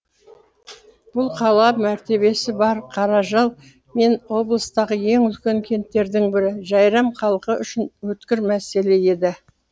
бұл қала мәртебесі бар қаражал мен облыстағы ең үлкен кенттердің бірі жәйрем халқы үшін өткір мәселе еді